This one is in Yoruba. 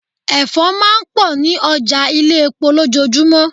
Ẹ̀fọ́ máa ń pọ̀ ní ọjà ilé-epo lojoojumo.